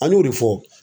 An y'o de fɔ